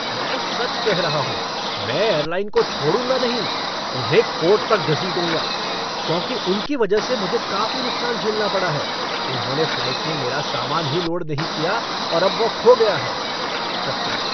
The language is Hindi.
मैं सच कह रहा हूँ, मैं एयरलाइन को छोड़ूंगा नहीं, उन्हें कोर्ट तक घसीटूंगा, क्योंकि उनकी वजह से मुझे काफी नुकसान झेलना पड़ा है, उन्होंने फ़्लाइट में मेरा सामान ही लोड नहीं किया और अब वह खो गया है। कस्टमर